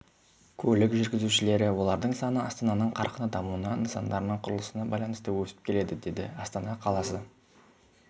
көлік жүргізушілері олардың саны астананың қарқынды дамуына нысандарының құрылысына байланысты өсіп келеді деді астана қаласы